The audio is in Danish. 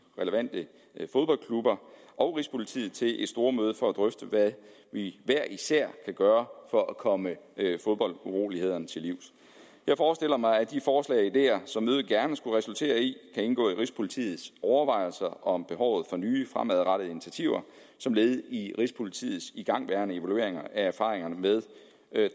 relevante fodboldklubber og rigspolitiet til et stormøde for at drøfte hvad vi hver især kan gøre for at komme fodboldurolighederne til livs jeg forestiller mig at de forslag og ideer som mødet gerne skulle resultere i kan indgå i rigspolitiets overvejelser om behovet for nye fremadrettede initiativer som led i rigspolitiets igangværende evalueringer af erfaringerne med